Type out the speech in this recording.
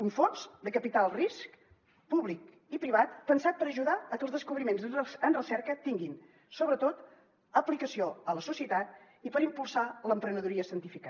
un fons de capital risc públic i privat pensat per ajudar que els descobriments en recerca tinguin sobretot aplicació a la societat i per impulsar l’emprenedoria científica